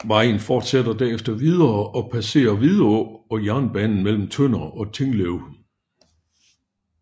Vejen forsætter derefter videre og passere Vidå og jernbanen mellem Tønder og Tinglev